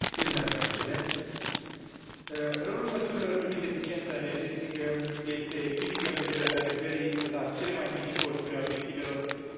Rolul măsurilor privind eficiența energetică este critic, în vederea realizării la cele mai mici costuri a obiectivelor stabilite privind clima și energia.